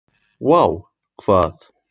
Vá hvað?